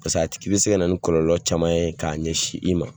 Paseke a tigi bɛ se ka na ni kɔlɔlɔ caman ye k'a ɲɛsin i ma.